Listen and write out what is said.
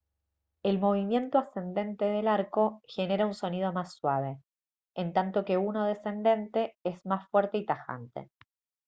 el movimiento ascendente del arco genera un sonido más suave en tanto que uno descendente es más fuerte y tajante